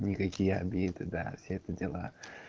никакие обиды да все это дела